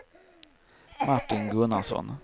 Martin Gunnarsson